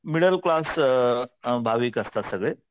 Middle class अ भाविक असतात सगळे.